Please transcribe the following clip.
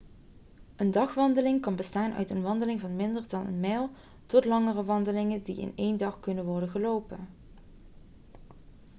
een dagwandeling kan bestaan uit een wandeling van minder dan een mijl tot langere wandelingen die in één dag kunnen worden gelopen